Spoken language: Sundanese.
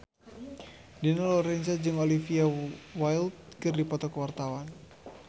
Dina Lorenza jeung Olivia Wilde keur dipoto ku wartawan